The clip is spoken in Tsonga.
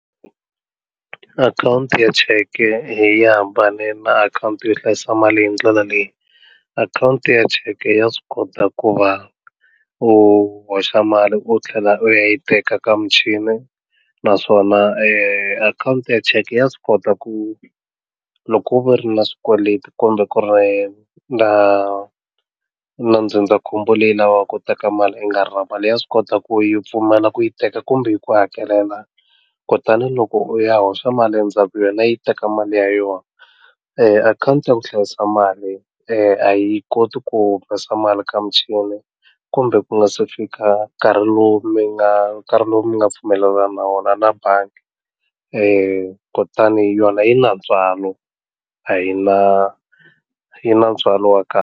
Akhawunti ya cheke yi hambane na akhawunti yo hlayisa mali hi ndlela leyi akhawunti ya cheke ya swi kota ku va u hoxa mali u tlhela u ya yi teka ka muchini naswona akhawunti ya cheke ya swi kota ku loko u ri na swikweleti kumbe ku ri na na ndzindzakhombo leyi lavaka ku teka mali i nga ri na mali ya swi kota ku yi pfumala ku yi teka kumbe yi ku hakelela kutani loko u ya hoxa mali endzhaku ka yona yi teka mali ya yona akhawunti ya ku hlayisa mali a yi koti ku humesa mali ka muchini kumbe ku nga se fika nkarhi lowu mi nga nkarhi lowu mi nga pfumelelana na wona na bangi kutani hi yona yi na ntswalo a yi na yi na ntswalo wa kahle.